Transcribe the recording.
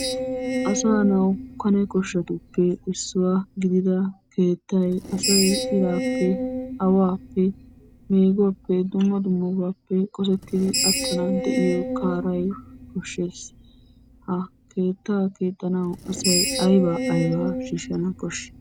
Asaanawu Kane koshshatuppe issuwa gidida keettay asay iraappe aawaappe meeguwappe dumma dummabaappe qosettidi attanawu an de'iya kaaray koshshes. Ha keettaa keexxanawu asay ayibaa ayibaa shiishshana koshshi?